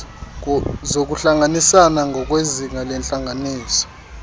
zokuhlanganisana ngokwezinga lentlanganiso